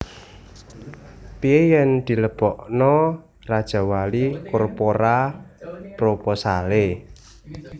Pie yen dilebokno Rajawali Corpora proposale?